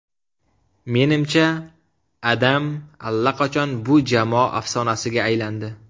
Menimcha, Adam allaqachon bu jamoa afsonasiga aylandi.